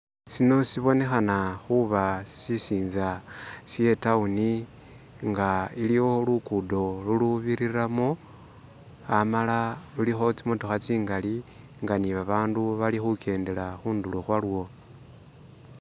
Sino sibinekhana khuba sisintsa she'town nga iliwo luguddo lulubiliramo amala lulikho tsimotokha tsingali nga'nibabandu bali khugendela khundulo khwayo